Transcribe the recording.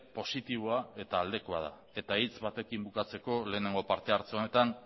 positiboa eta aldekoa da eta hitz batekin bukatzeko lehenengo partehartze honetan